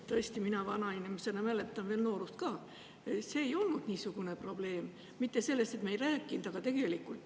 Tõesti, mina vana inimesena mäletan veel noorust ka, see ei olnud siis niisugune probleem.